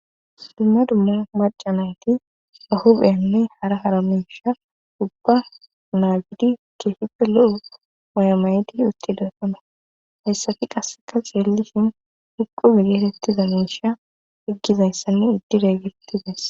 Dumma dumma macanayti bahubeynne hara haramesha ubba naagidi keehippe lo7o waymaydi uttidessona hessafi qasseka xeellisin huqu bidetettiza meisha iggizayssanne iddireegetides.